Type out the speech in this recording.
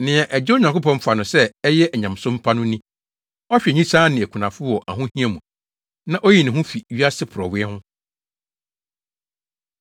Nea Agya Onyankopɔn fa no sɛ ɛyɛ onyamesom pa no ni: Ɔhwɛ nyisaa ne akunafo wɔ wɔn ahohia mu, na oyi ne ho fi wiase porɔwee ho.